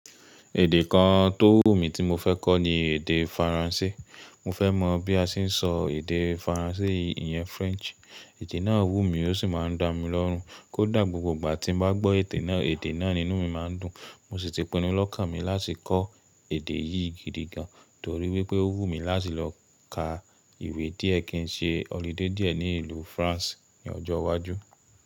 Èdè kan tó wù mí tí mo fẹ́ kọ́ ni èdè Faransé. Mo fẹ́ mọ̀ bí a ṣe ń sọ èdè Faransé iyẹn French. Èdè náà wù mí ó sì máa ń dá mi lọ́run. Kódà gbogbo ìgbà tí mo bá gbọ́ èdè náà, èdè náà nínú mi máa ń dùn. Mo sì ti pinnu lọ́kàn mi láti kọ́ èdè yìí gidigan torí wípé ó wù mí láti lọ ká ìwé díẹ̀ kí n ṣe ọludé díẹ̀ ní ìlú France ní ọjọ́ iwájú.